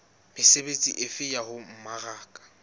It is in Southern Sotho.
mesebetsi efe ya ho mmaraka